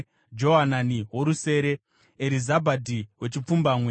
Johanani worusere, Erizabhadhi wechipfumbamwe,